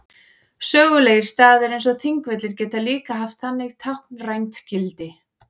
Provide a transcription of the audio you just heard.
Sögulegir staðir eins og Þingvellir geta líka haft þannig táknrænt gildi.